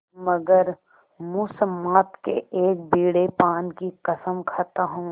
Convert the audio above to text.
मगर मुसम्मात के एक बीड़े पान की कसम खाता हूँ